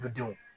U denw